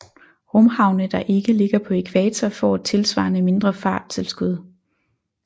Rumhavne der ikke ligger på ækvator får et tilsvarende mindre farttilskud